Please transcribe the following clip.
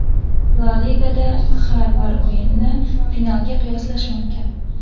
La Ligada har bir o‘yinni finalga qiyoslash mumkin.